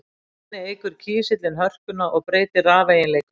Þannig eykur kísillinn hörkuna og breytir rafeiginleikum.